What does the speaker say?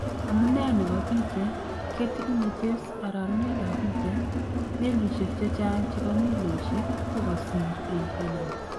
Amunee neboo picheet , Getty Images arorunet ab picheet ,meliisyek chechang chebo miloosyek kokakisiir en Panama